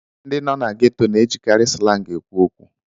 Ndị nọ na gétò na-ejikarị slangi ekwu okwu